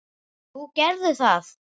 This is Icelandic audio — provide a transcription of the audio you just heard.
Jú, gerðu það!